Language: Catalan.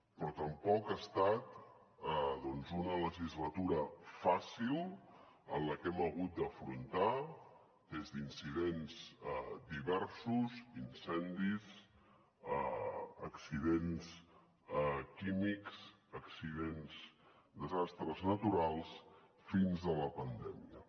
però tampoc ha estat una legislatura fàcil en la que hem hagut d’afrontar des d’incidents diversos incendis accidents químics accidents desastres naturals fins a la pandèmia